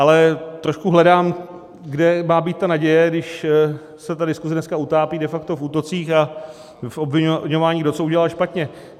Ale trošku hledám, kde má být ta naděje, když se ta diskuze dneska utápí de facto v útocích a v obviňování, kdo co udělal špatně.